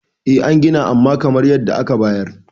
eh an Gina amma kamar yadda aka bayar